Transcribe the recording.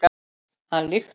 Hann lyktar allur.